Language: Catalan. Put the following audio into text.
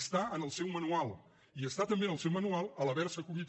està en el seu manual i està també en el seu manual el fet d’haver se acollit